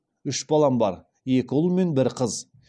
үш балам бар екі ұл мен бір қыз